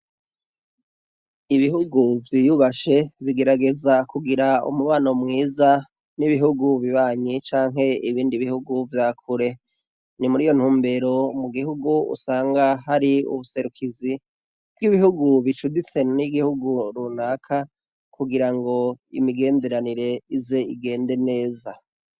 Ibihugu vyiyubashe bigerageza kugira umubano mwiza nibihugu bibanyi canke ibindi bihugu vyakure nimuri iyo ntumbero mugihugu unsanga hari ubuserukizi bwibihugu bicuditse nigihugu runaka kugira ngo imigenderanire ize igende neza